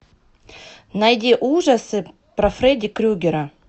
найди ужасы про фредди крюгера